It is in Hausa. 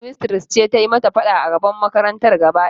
Shedmistres ce ta yi mata fada a gaban makarantar gaba daya.